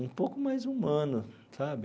um pouco mais humano, sabe?